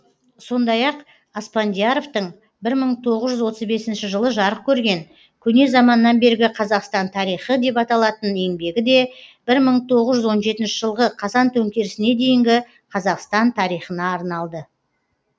сондай ақ аспандияровтың бір мың тоғыз жүз отыз бесінші жылы жарық көрген көне заманнан бергі қазақстан тарихы деп аталатын еңбегі де бір мың тоғыз жүз он жетінші жылғы қазан төңкерісіне дейінгі қазақстан тарихына арналды